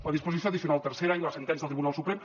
la disposició addicional tercera i la sentència del tribunal suprem